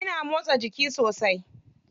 Kina motsa jiki sosai.